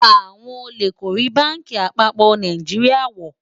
àwọn ólè kò rí bánkì àpapọ Nàìjíríà wò